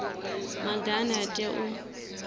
maga ane a tea u